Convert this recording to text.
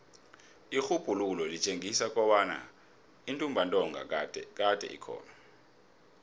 irhubhululo litjengisa kobana intumbantonga kade ikhona